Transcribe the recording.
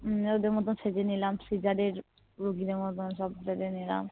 ওদের মতন সেজে নিলাম scissor এর রুগীদের মতন সব সেজে নিলাম